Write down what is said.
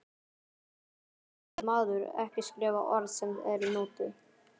Af hverju skyldi maður ekki skrifa orð sem eru notuð?